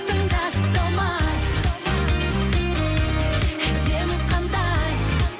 тыңдашы талмай әдемі қандай